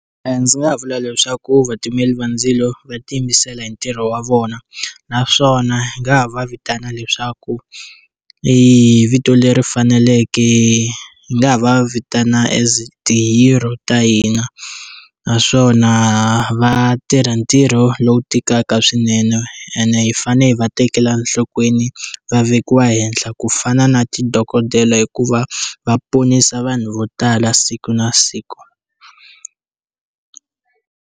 Ndzi nga vula leswaku vatimeli va ndzilo va tiyimisela hi ntirho wa vona naswona hi nga ha va vitana leswaku i vito leri faneleke hi nga ha va vitana as ti hero ta hina naswona va tirha ntirho lowu tikaka swinene ene hi fanele hi va tekela enhlokweni va vekiwa henhla ku fana na ti dokodela hikuva va ponisa vanhu vo tala siku na siku.